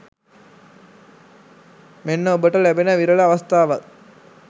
මෙන්න ඔබට ලැබෙන විරල අවස්ථාවක්.